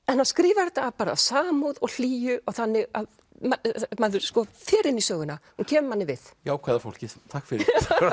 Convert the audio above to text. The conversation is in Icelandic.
en hann skrifar þetta af samúð og hlýju þannig að maður fer inn í söguna og hún kemur manni við jákvæða fólkið takk fyrir